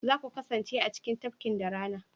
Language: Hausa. za ku kasance a cikin tafkin da rana?